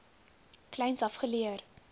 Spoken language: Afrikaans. kleins af geleer